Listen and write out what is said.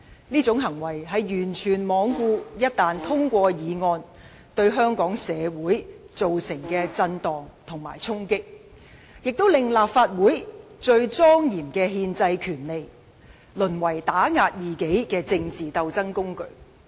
這種行為完全罔顧議案一旦獲得通過，對香港社會所造成的震盪和衝擊，亦令立法會最莊嚴的憲制權力，淪為打壓異己的政治鬥爭工具。